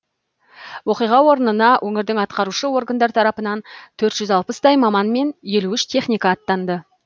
оқиға орнына өңірдің атқарушы органдар тарапынан төрт жүз алпыстай маман мен елу үш техника аттанды